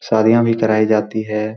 शादियाँ भी कराई जाती है।